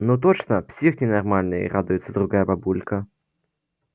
ну точно псих ненормальный радуется другая бабулька